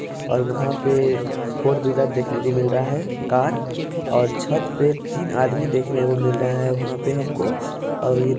--और वहाँ पर फोर व्हीलर देखने को मिल रहा है कार और छत पर तीन आदमी देखने को मिल रहा है वहाँ पर हमको अभी---